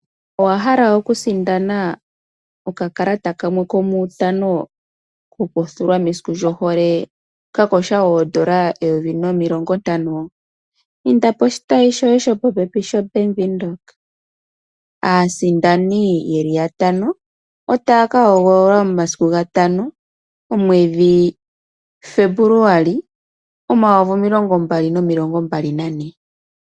Owa hala okusindana okakala kamwe komuutano kokuthulwa mesiku lyohole ka kotha N$ 1050? Inda poshitayi shoye sho popepi shoBank Windhoek. Aasindani ye li yatano otaya ka hogololwa momasiku gatano omwedhi Febuluali omayovi gaali nomilongo mbali nane.